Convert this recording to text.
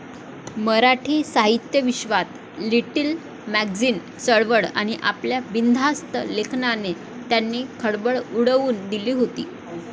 मराठी साहित्यविश्वात 'little magazine' चळवळ आणि आपल्या 'बिनधास्त' लेखनाने त्यांनी खळबळ उडवून दिली होती.